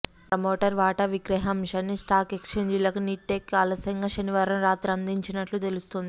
promoter వాటా విక్రయ అంశాన్ని స్టాక్ ఎక్స్ఛేంజీలకు నిట్ టెక్ ఆలస్యంగా శనివారం రాత్రి అందించినట్లు తెలుస్తోంది